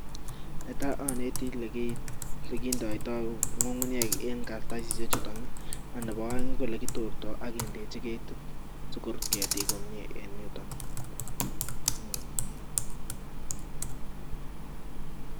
Netaa onete olekindeito ngungunyek en kartasishe chuton ak nebo oeng ko elekitorto ak kindechi ketit sikorut ketik komnye en yuton Um.